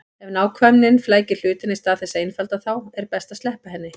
Ef nákvæmnin flækir hlutina í stað þess að einfalda þá er best að sleppa henni.